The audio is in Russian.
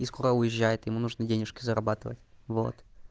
и скоро уезжает ему нужны денюжки зарабатывать вот